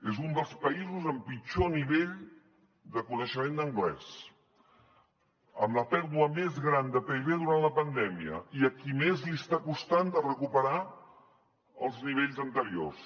és un dels països amb pitjor nivell de coneixement d’anglès amb la pèrdua més gran de pib durant la pandèmia i a qui més li està costant de recuperar els nivells anteriors